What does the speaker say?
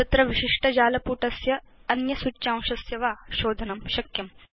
तत्र विशिष्ट जालपुटस्य अन्य सूच्यांशस्य वा शोधनं शक्यम्